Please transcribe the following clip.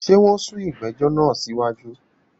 Ṣé wọn sún ìgbẹ̀jọ̀ náà sí wájú?